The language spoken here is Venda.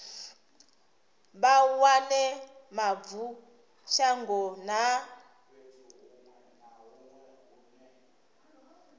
vha wane mavu shango na